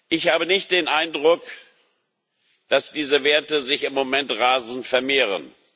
Ich habe nicht den Eindruck, dass diese Werte sich im Moment rasend vermehren.